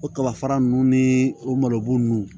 O kabafa nunnu ni o malobon ninnu